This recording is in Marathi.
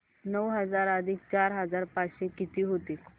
नऊ हजार अधिक चार हजार पाचशे किती होतील